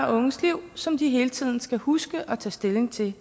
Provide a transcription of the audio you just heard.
og unges liv som de hele tiden skal huske og tage stilling til